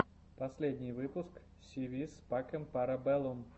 последний выпуск си вис пакэм пара бэллум